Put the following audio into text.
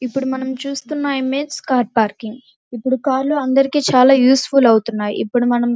ఇప్పుడు మనం చూస్తున ఇమేజ్ కార్ పార్కింగ్ ఇప్పుడు కార్లు అందరికి యూస్ఫుల్ అవుతున్నాయి ఇప్పుడు మనం --